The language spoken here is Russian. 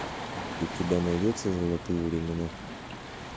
у тебя найдется золотые времена